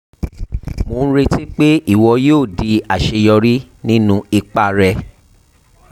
mo nireti pe iwọ yoo di aṣeyọri ninu ipa rẹ